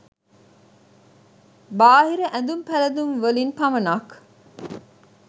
බාහිර ඇඳුම් පැළඳුම්වලින් පමණක්